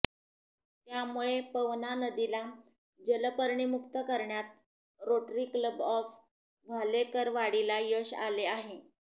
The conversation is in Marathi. त्यामुळे पवना नदीला जलपर्णीमुक्त करण्यात रोटरी क्लब ऑफ वाल्हेकरवाडीला यश आले आहे